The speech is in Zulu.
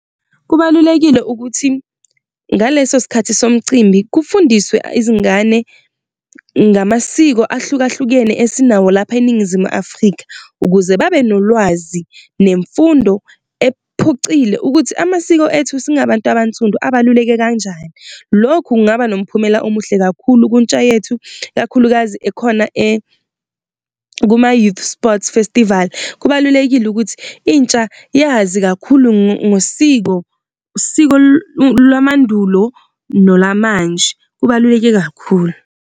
Kubalulekile ukuthi ngaleso sikhathi somcimbi kufundiswe izingane ngamasiko ahlukahlukene esinawo lapha eningizimu Afrika, ukuze babe nolwazi nemfundo ephucile. Ukuthi amasiko ethu singabantu abansundu abaluleke kanjani. Lokhu kungaba nomphumela omuhle kakhulu ku-intsha yethu, ikakhulukazi ekhona kuma-Youth Sports Festival. Kubalulekile ukuthi intsha iyazi kakhulu ngosiko, usiko lwamandulo nolamanje, kubaluleke kakhulu.